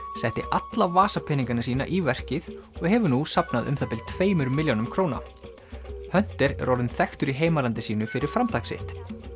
setti alla vasapeningana sína í verkið og hefur nú safnað um það bil tveimur milljónum króna er orðinn þekktur í heimalandi sínu fyrir framtak sitt